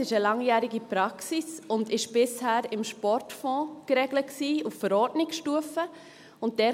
Das ist eine langjährige Praxis und war bisher im Sportfonds auf Verordnungsstufe geregelt.